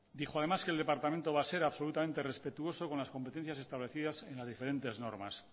dijo además que el departamento va a ser absolutamente respetuoso con las competencias establecidas en las diferentes normas